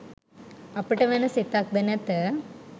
අපට වන සෙතක්ද නැත